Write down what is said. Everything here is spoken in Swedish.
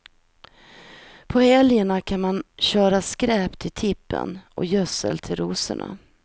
På helgerna kan man köra skräp till tippen och gödsel till rosorna.